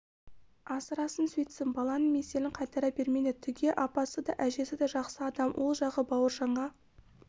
асырасын сөйтсін баланың меселін қайтара бермеңдер түге апасы да әжесі де жақсы адам ол жағы бауыржанға